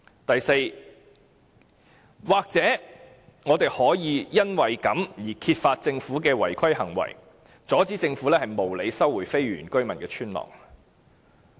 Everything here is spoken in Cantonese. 第四，也許我們可以揭發政府的違規行為，阻止政府無理收回非原居民村落的土地。